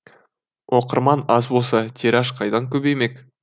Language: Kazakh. оқырман аз болса тираж қайдан көбеймек